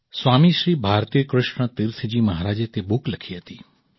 સ્વામી શ્રી ભારતીકૃષ્ણ તીર્થજી મહારાજે તે બુક લખી હતી